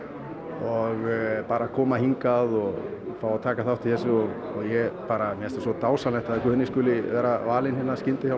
og bara að koma hingað og fá að taka þátt í þessu og mér finnst svo dásamlegt að Guðni skuli vera valinn